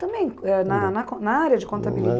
Também, eh na na con na área de contabilidade?